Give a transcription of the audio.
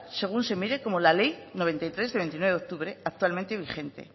según se mire como la ley noventa y tres del veintinueve de octubre actualmente vigente